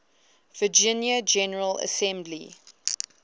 virginia general assembly